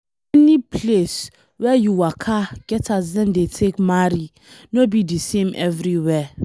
Any place wey you waka get as dem dey take marry, no be de same everywhere.